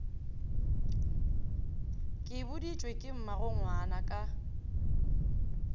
ke boditšwe ke mmagongwana ka